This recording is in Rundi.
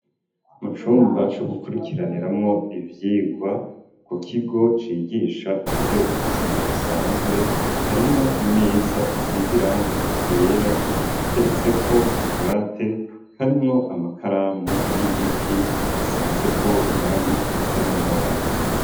Mu cumba co gukurikiraniramwo ivyigwa, ku kigo cigisha ivy'ubuzima busanzwe, harimwo imeza isize irangi ryera, iteretseko akabwate karimwo amakaramu y'igiti, asizeko irangi risa n'umuhondo.